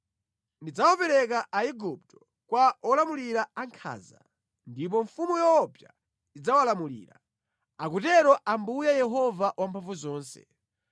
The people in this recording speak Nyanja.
Ndidzawapereka Aigupto kwa olamulira ankhanza, ndipo mfumu yoopsa idzawalamulira,” akutero Ambuye Yehova Wamphamvuzonse.